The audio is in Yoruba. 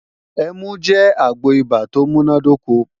Ẹmu jẹ́ àgbo ibà tó múnádóko